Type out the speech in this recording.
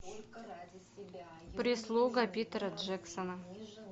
прислуга питера джексона